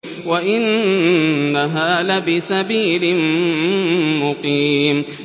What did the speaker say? وَإِنَّهَا لَبِسَبِيلٍ مُّقِيمٍ